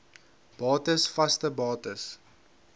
bates vaste bates